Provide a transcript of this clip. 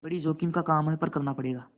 बड़ी जोखिम का काम है पर करना ही पड़ेगा